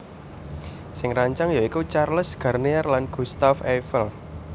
Sing ngrancang ya iku Charles Garnier lan Gustave Eiffel